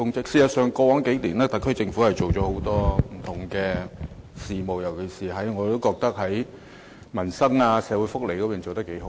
事實上，過往數年，特區政府在不同方面做了很多工作，尤其是在民生和社會福利方面做得不錯。